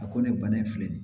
A ko ne bana in filɛ nin ye